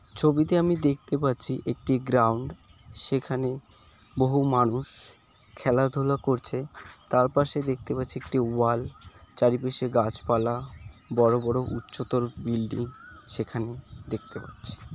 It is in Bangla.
ছবিতে আমি দেখতে পাচ্ছি একটি গ্রাউন্ড । সেখানে বহু মানুষ খেলাধুলা করছে। তার পাশে দেখতে পাচ্ছি একটি ওয়াল চারিপাশে গাছপালা বড় বড় উচ্চতর বিল্ডিং সেখানে দেখতে পাচ্ছি।